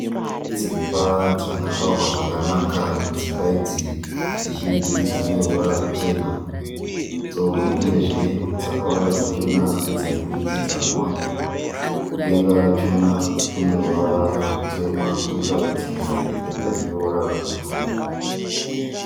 Dzimba dzakavakwa zvakanaka. Dzimba idzi dzizhinji dzine ruvara ruchena uyezve dzakawanda dzachona ndedze mudurikidzanwa. Kudenga rachona kune ruvara ruchena kwoita dzimwe dzine denga rine ruvara rwebhuruu.